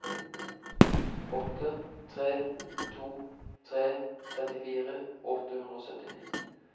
åtte tre to tre trettifire åtte hundre og syttini